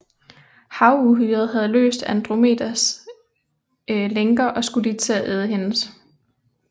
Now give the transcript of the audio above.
Havuhyret havde løst Andromedas lænker og skulle lige til at æde hende